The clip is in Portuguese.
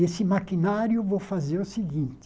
E esse maquinário, eu vou fazer o seguinte,